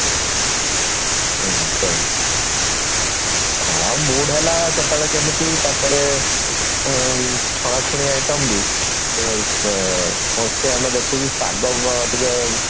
ହୁଁ ସେଇ ହଁ mood ହେଲା କେତେବେଳେ କେମିତି ତାପରେ ଆଉ ଛଣାଛଣି item ବି ଆଁ ଆମେ ଦେଖୁଛେ ପାଗ ଟିକେ